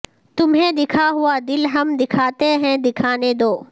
تمہیں دکھا ہوا دل ہم دکھاتے ہیں دکھانے دو